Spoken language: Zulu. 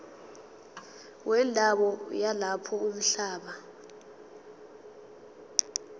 wendawo yalapho umhlaba